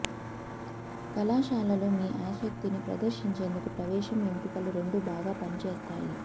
కళాశాలలో మీ ఆసక్తిని ప్రదర్శించేందుకు ప్రవేశం ఎంపికలు రెండూ బాగా పని చేస్తాయి